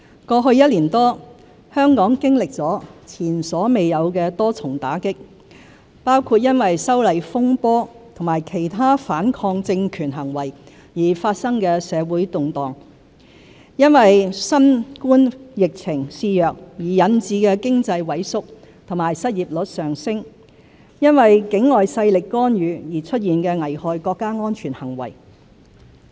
過去一年多，香港經歷了前所未有的多重打擊：因"修例風波"和其他反抗政權行為而發生的社會動亂、因新冠疫情肆虐而引致的經濟萎縮和失業率上升、因境外勢力干預而出現的危害國家安全行為。